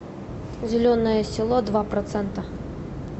зеленое село два процента